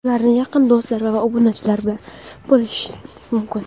Ularni "yaqin do‘stlar" va obunachilar bilan bo‘lishish mumkin.